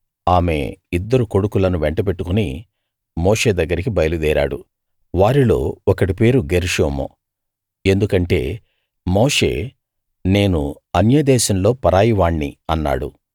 ఆమె ఇద్దరు కొడుకులను వెంటబెట్టుకుని మోషే దగ్గరికి బయలుదేరాడు వారిలో ఒకడి పేరు గెర్షోము ఎందుకంటే మోషే నేను అన్య దేశంలో పరాయివాణ్ణి అన్నాడు